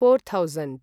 four thousand